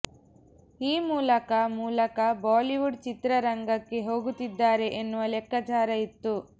ಈ ಮೂಲಕ ಮೂಲಕ ಬಾಲಿವುಡ್ ಚಿತ್ರರಂಗಕ್ಕೆ ಹೋಗುತ್ತಿದ್ದಾರೆ ಎನ್ನುವ ಲೆಕ್ಕಾಚಾರ ಇತ್ತು